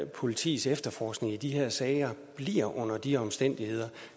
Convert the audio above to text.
politiets efterforskning i de her sager bliver under de omstændigheder